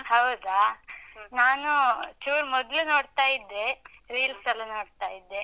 ಹೌದಾ? ನಾನು, ಚೂರ್ ಮೊದ್ಲು ನೋಡ್ತಾ ಇದ್ದೆ. reels ಲ್ಲ ನೋಡ್ತಾ ಇದ್ದೆ.